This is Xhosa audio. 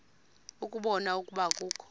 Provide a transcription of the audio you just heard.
ukubona ukuba akukho